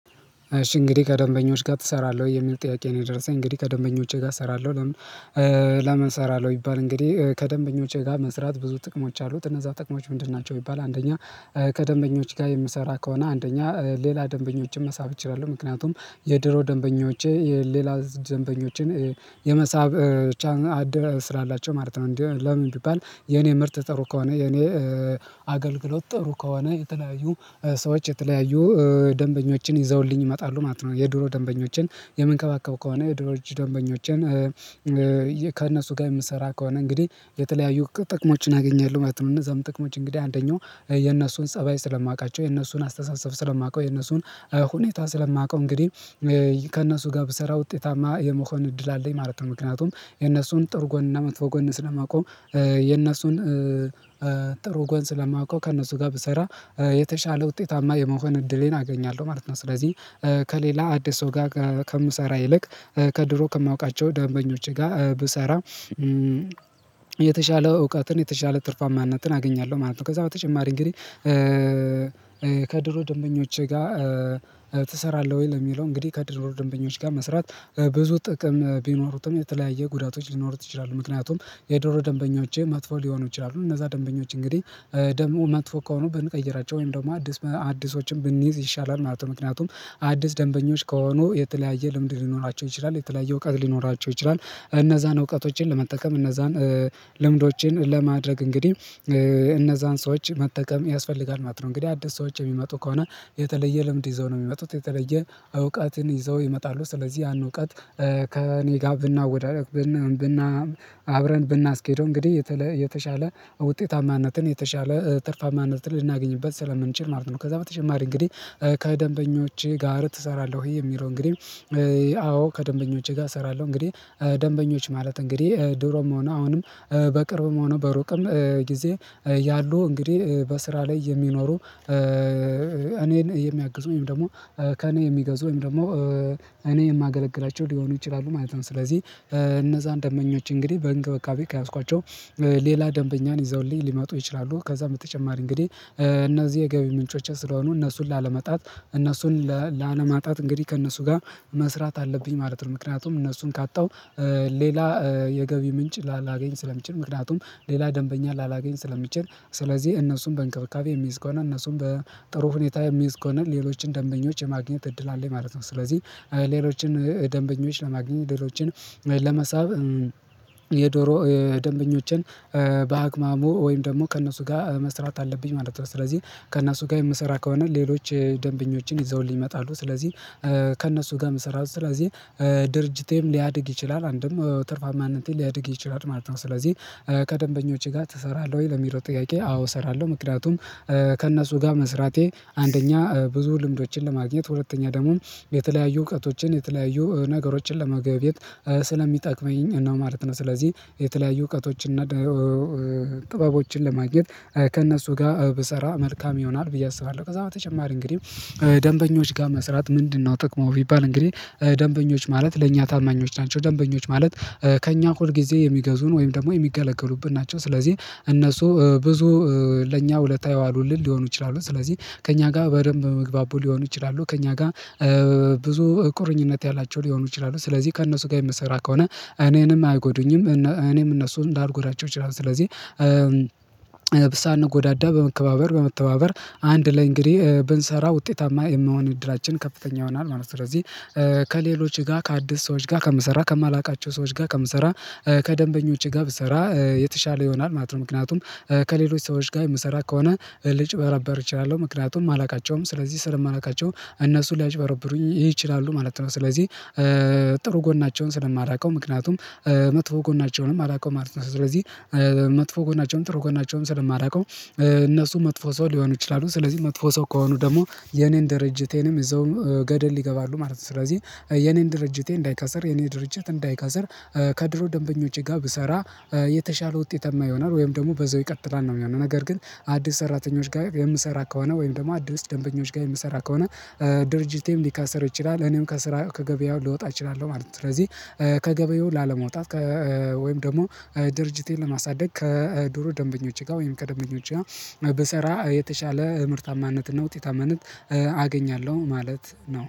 እሺ እንግዲህ ከደንበኞች ጋር ትሰራለህ? የሚል ጥያቄ ነው የደረሰኝ። እንግዲህ ከደንበኞቼ ጋር እሰራለሁ። ለምን እሰራለሁ ይባል እንግዲህ ከደንበኞቼ ጋር መስራት ብዙ ጥቅሞች አሉት እነዛ ጥቅሞች ምንድን ናቸው? ቢባል አንደኛ፦ ከደንበኞች ጋር የምሰራ ከሆነ አንደኛ ሌላ ደንበኞችም መሳብ እችላለሁ፣ ምክንያቱም የድሮ ደንበኞቼ የሌላ ደንበኞችን የመሳብ ቻን አድ፣ ፈ ስላላቸው፣ ማለት ነው እንዴ ለምን ቢባል የኔ ምርጥ ጥሩ ከሆነ የኔ አገልግሎት ጠሩ ከሆነ የተለያዩ ሰዎች የተለያዩ ደንበኞችን ይዘውልኝ ይመጣሉ ማለት ነው። የድሮ ደንበኞችን የምንከባከብ ከሆነ ድሮጅ ደንበኞችን ከእነሱ ጋር የምሰራ ከሆነ እንግዲህ የተለያዩ ጥቅሞችን አገኛለሁ ማለት ነው እነዛም ጥቅሞች እንግዲህ አንደኛው ፦የነሱን ፀባይ ስለማውቃቸው የነሱን አስተሳሰብ ስለማውቀው የነሱን ሁኔታ ስለማውቀው፣ እንግዲህ ከእነሱ ጋር ብሰራ ውጤታማ የመሆን እድል አለኝ ማለት ነው ምክንያቱም የነሱን ጥሩ ጎን እና መጥፎ ጎን ስለማቆም የነሱን ጥሩ ጎን ስለማውቀው ከእነሱ ጋር ብሰራ የተሻለ ውጤታማ የመሆን እድሌን አገኛለሁ ማለት ነው። ስለዚህ ከሌላ አዲስ ሰው ጋር ከምሰራ ይልቅ ከድሮ ከማውቃቸው ደንበኞች ጋር ብሰራ የተሻለ እውቀትን የተሻለ ትርፋማነትን አገኛለሁ ማለት ነው። ከዛ በተጨማሪ እንግዲህ ከድሮ ደንበኞች ጋር ትሰራለህ ወይ? ለሚለው እንግዲህ ከድሮ ደንበኞች ጋር መስራት በብዙ ጥቅም ቢኖሩትም የተለያየ ጉዳቶች ሊኖሩት ይችላሉ። ምክንያቱም የዶሮ ደንበኞቼ መጥፎ ሊሆኑ ይችላ፣ እነዛ ደንበኞች እንግዲህ ደግሞ መጥፎ ከሆኑ ብንቀይራቸው ወይም ደግሞ አዲስ አዲሶችን ብንይዝ ይሻላል ማለት ነው ምክንያቱም አዲስ ደንበኞች ከሆኑ የተለያየ ልምድ ሊኖራቸው ይችላል፤ የተለያየ እውቀት ሊኖራቸው ይችላል፤ እነዛን እውቀቶችን ለመጠቀም እነዛን ልምዶችን ለማድረግ እንግዲህ እነዛን ሰዎች መጠቀም ያስፈልጋል ማለት ነው። እንግዲህ አዲስ ሰዎች የሚመጡ ከሆነ የተለየ ልምድ ይዘው ነው የሚመጡት የተለየ እውቀትን ይዘው ይመጣሉ ስለዚህ ያን እውቀት ከእኔ ጋር ብናወዳደር ብና አብረን ብናስኬደው እንግዲህ የተሻለ ውጤታማነትን የተሻለ ትርፋማነትን ልናገኝበት ስለምንችል ማለት ነው። ከዛ በተጨማሪ እንግዲህ ''ከደንበኞቼ ጋር ትሰራለህ ወይ?'' የሚለው እንግዲህ አዎ ከደንበኞቼ ጋር እሰራለሁ እንግዲህ ደንበኞች ማለት እንግዲህ ድሮም ሆነ አሁንም በቅርብም ሆነ በሩቅም ጊዜ ያሉ እንግዲህ በስራ ላይ የሚኖሩ እኔን የሚያግዙኝ ወይም ደግሞ ከእኔ የሚገዙኝ ወይም ደግሞ እኔ የማገለግላቸው ሊሆኑ ይችላሉ ማለት ነው። ስለዚህ እነዛን ደንበኞች እንግዲህ በእንክብካቤ ከያዝኳቸው ሌላ ደንበኛን ይዘውልኝ ሊመጡ ይችላሉ። ከዛም በተጨማሪ እንግዲህ እነዚህ የገቢ ምንጮች ስለሆኑ እነሱን ላለመጣት እነሱን ላለማጣት እንግዲህ ከእነሱ ጋር መስራት አለብኝ ማለት ነው ምክንያቱም እነሱን ካጣው ሌላ የገቢ ምንጭ ላላገኝ ስለምችል ምክንያቱም ሌላ ደንበኛ ላላገኝ ስለሚችል። ስለዚህ እነሱን በእንክብካቤ የሚይዝ ከሆነ እነሱም በጥሩ ሁኔታ የሚይዝ ከሆነ ሌሎችን ደንበኞች የማግኘት እድል አለኝ ማለት ነው ስለዚህ ሌሎችን ደንበኞች ለማግኘት እድሎችን ለመሳብ የድሮ ደንበኞችን ወይም ደግሞ ከእነሱ ጋር መስራት አለብኝ ማለት ነው ስለዚህ ከእነሱ ጋር የምሰራ ከሆነ ሌሎች ደንበኞችን ይዘውልኝ ይመጣሉ ስለዚህ ከእነሱ ጋር መሰራት። ስለዚህ ድርጅቴም ሊያድግ ይችላል አንድም ትርፋማነቴ ማንንቴ ሊያድግ ይችላል ማለት ነው ስለዚህ 'ከደንበኞችህ ጋር ትሰራለህ ወይ?'' ለሚለው ጥያቄ አዎ እሰራለሁ ምክንያቱም ከእነሱ ጋር መስራቴ አንደኛ ብዙ ልምዶችን ለማግኘት፤ ሁለተኛ ደግሞ የተለያዩ እውቀቶችን የተለያዩ ነገሮችን ለመገበየት ስለሚጠቅመኝ እና ማለት ነው ስለዚህ የተለያዩ እውቀቶችን ጥበቦችን ለማግኘት ከእነሱ ጋር ብሰራ መልካም ይሆናል ብዬ አስባለሁ ከዛ በተጨማሪ እንግዲህ ደንበኞች ጋር መስራት ምንድነው ጥቅሙ? ቢባል እንግዲህ ደንበኞች ማለት ለእኛ ታማኞች ናቸው ደንበኞች ማለት ከእኛ ሁል ጊዜ የሚገዙን ወይም ደግሞ የሚገለገሉብን ናቸው። ስለዚህ እነሱ ብዙ ለእኛ ውለታ የዋሉልን ሊሆኑ ይችላ፣ ስለዚህ ከእኛ ጋር በደንብ መግባቡ ሊሆኑ ይችላሉ ከእኛ ጋር ብዙ ቁርኝነት ያላቸው ሊሆኑ ይችላሉ። ስለዚህ ከእነሱ ጋር የምሰራ ከሆነ እኔንም አያጎዱኝም እኔም እነሱን ላልጎዳቸው እችላለሁ ስለዚህ ሳንጎዳዳ በመከባበር፤ በመተባበር ፦አንድ ላይ እንግዲህ ብንሰራ ውጤታማ የመሆን እድላችን ከፍተኛ ይሆናል ማለት ነው። ስለዚህ ከሌሎች ጋር ከአዲስ ሰዎች ጋር ከምሰራ ከማላውቃቸው ሰዎች ጋር ከምሰራ ከደንበኞች ጋር ብሰራ የተሻለ ይሆናል ማለት ነው ምክንያቱም ከሌሎች ሰዎች ጋር የምሰራ ከሆነ ልጭበረበር እችላለሁ ምክንያቱም አላውቃቸውም። ስለዚህ ስር ማላቃቸው እነሱ ሊያጭበረብሩኝ ይችላሉ ማለት ነው ስለዚህ ጥሩ ጎናቸውን ስለማላውቀው ምክንያቱም መጥፎ ጎናቸውንም አላውቀው ማለት ነው። ስለዚህ መጥፎ ጎናቸውንም ጥሩ ጎናቸውንም ስለማላውቀው እነሱ መጥፎ ሰው ሊሆኑ ይችላሉ ስለዚህ መጥፎ ሰው ከሆኑ ደግሞ የኔን ድርጅቴንም እዛው ገደል ይገባሉ ማለት ነው ስለዚህ የኔን ድርጅቴ እንዳይከስር የኔ ድርጅት እንዳይከስር ከድሮ ደንበኞች ጋር ብሰራ የተሻለ ውጤት ይሆናል ወይም ደግሞ በዛው ይቀጥላል ነው የሚሆነው። ነገር ግን አዲስ ሰራተኞች ጋር የምሰራ ከሆነ ወይም ደግሞ አዲስ ደንበኞች ጋር የምሰራ ከሆነ ድርጅቴም ሊካሰር ይችላል እኔም ከስራ ከገበያው ልወጣ እችላለሁ ማለት ነው። ስለዚህ ከገበያው ላለመውጣት ወይም ደግሞ ድርጅቴን ለማሳደግ ከዱሮ ደንበኞች ጋር ወይም ከደንበኞች ጋር ብሰራ የተሻለ ምርታማነትና ውጤታማነት አገኛለሁ ማለት ነው